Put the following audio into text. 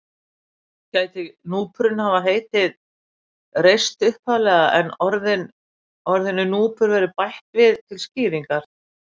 Gæti núpurinn hafa heitið Reist upphaflega en orðinu núpur verið bætt við til skýringar.